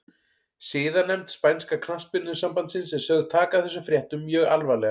Siðanefnd spænska knattspyrnusambandsins er sögð taka þessum fréttum mjög alvarlega.